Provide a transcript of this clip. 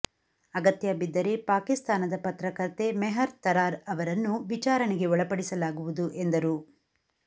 ಅಗತ್ಯ ಬಿದ್ದರೆ ಪಾಕಿಸ್ತಾನದ ಪತ್ರಕರ್ತೆ ಮೆಹರ್ ತರಾರ್ ಅವರನ್ನೂ ವಿಚಾರಣೆಗೆ ಒಳಪಡಿಸಲಾಗುವುದು ಎಂದರು